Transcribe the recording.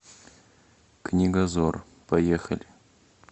книгозор поехали